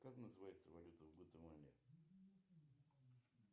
как называется валюта в гватемале